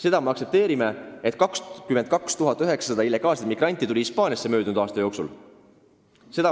Seda me aktsepteerime, et Hispaaniasse tuli möödunud aastal 22 900 illegaalset migranti.